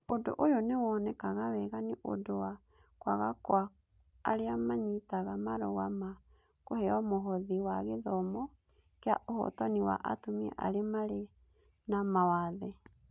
Ũndũ ũyũ nĩ wonekaga wega nĩ ũndũ wa kwaga kwa arĩa maanyitaga marũa ma kũheo mũhothi wa gĩthomo kĩa ũhotani wa atumia arĩa marĩ na mawathe.